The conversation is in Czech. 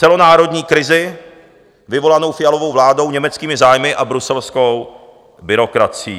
Celonárodní krizi vyvolanou Fialovou vládou, německými zájmy a bruselskou byrokracií.